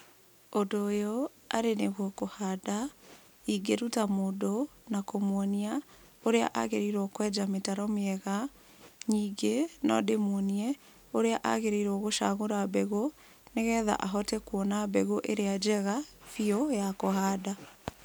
Ũndũ ũyũ arĩ nĩguo kũhanda, ingĩruta mũndũ na kũmwonia ũrĩa agĩrĩirwo kwenja mĩtaro mĩega, ningĩ no ndĩmuonie, ũrĩa agĩrĩirwo gũcagũra mbegũ, nĩgetha ahote kuona mbegũ ĩrĩa njega biũ ya kũhanda.